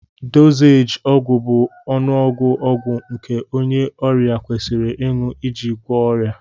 Dozééji ọgwụ bụ ọnụọgụ ọgwụ nke onye ọrịa kwesịrị ịṅụ iji gwọọ ọrịa